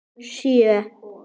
Sjö